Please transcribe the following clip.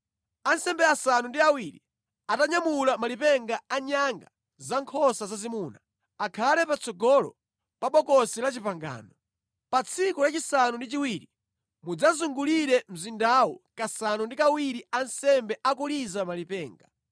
Ansembe asanu ndi awiri, atanyamula malipenga a nyanga za nkhosa zazimuna, akhale patsogolo pa Bokosi la Chipangano. Pa tsiku lachisanu ndi chiwiri mudzazungulire mzindawu kasanu ndi kawiri ansembe akuliza malipenga.